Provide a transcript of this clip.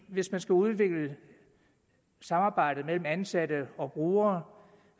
hvis man skal udvikle samarbejdet mellem ansatte og brugere